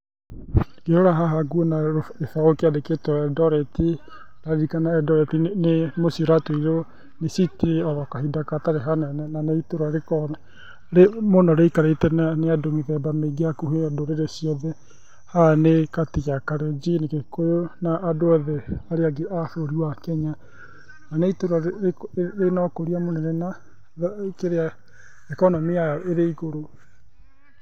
Ngĩrora haha nguona kibaũ kĩandĩkĩtwo Eldoret, ndaririkana Eldoret nĩ mũciĩ ũratuirwo city oro kahinda gatarĩ kũnene. Na nĩ itũra rikoragwo rĩikarĩtwo nĩ andũ mĩthemba mĩingĩ hakuhĩ a ndũrĩrĩ ciothe. Haha nĩ kati ya Kalejin, Gĩkũyũ na andũ othe arĩa angĩ a bũrũri wa Kenya. Na nĩ itũra rĩna ũkũria mũnene, kĩrĩa, ikonomĩ yao ĩrĩ igũrũ.